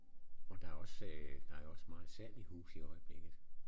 Og der også øh der er jo også meget salg i huse i øjeblikket